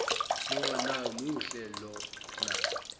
lona muhle lona